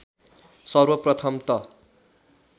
सर्वप्रथम त